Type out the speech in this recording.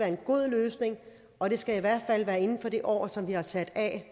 en god løsning og det skal i hvert fald være inden for det år som vi har sat af